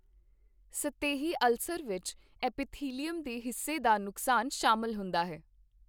ਸਤਹੀ ulcer ਵਿੱਚ epithelium ਦੇ ਹਿੱਸੇ ਦਾ ਨੁਕਸਾਨ ਸ਼ਾਮਲ ਹੁੰਦਾ ਹੈ।